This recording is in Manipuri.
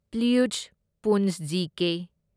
ꯄ꯭ꯂꯨꯢꯁꯠ ꯄꯨꯟꯆ ꯖꯤ&ꯀꯦ